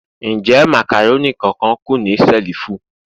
Njẹ macaroni kan-kan ku ni selifu?